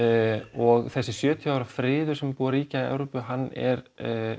og þessi sjötíu ára friður sem er búinn að ríkja í Evrópu hann er